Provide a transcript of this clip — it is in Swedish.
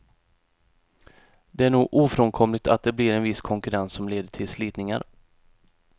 Det är nog ofrånkomligt att det blir en viss konkurrens som leder till slitningar.